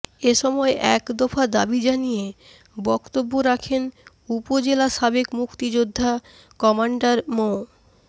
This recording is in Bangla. এ সময় এক দফা দাবি জানিয়ে বক্তব্য রাখেন উপজেলা সাবেক মুক্তিযোদ্ধা কমান্ডার মো